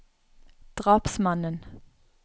drapsmannen